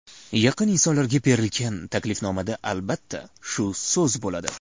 Yaqin insonlarga berilgan taklifnomada albatta, shu so‘z bo‘ladi.